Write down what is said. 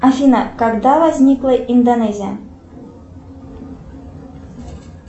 афина когда возникла индонезия